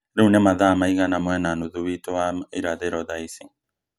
Rĩu nĩ mathaa maigana mwena nuthu witũ wa irathĩro thaaici